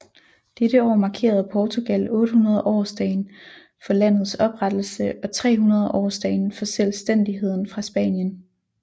Dette år markerede Portugal 800 årsdagen for landets oprettelse og 300 årsdagen for selvstændigheden fra Spanien